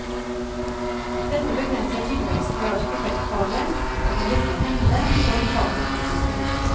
Dette begrenser tilveksten i arkitektfaget og kan virke hemmende for fagets utvikling.